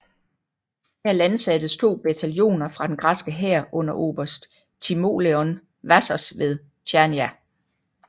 Her landsattes to bataljoner fra den græske hær under oberst Timoleon Vassos ved Chania